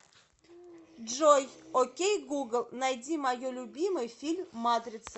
джой окей гугл найди мое любимый фильм матрица